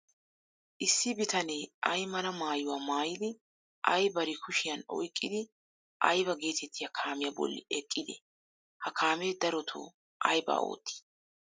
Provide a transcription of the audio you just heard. Issi bitanee ay mala maayuwa maayidi ay bari kushiyan oyqqidi aybaa geetettiya kaamiy bolli eqqidee? Ha kaamee darotoo aybaa oottii?